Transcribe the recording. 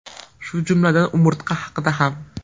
Shu jumladan umurtqa haqida ham.